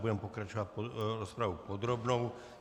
Budeme pokračovat rozpravou podrobnou.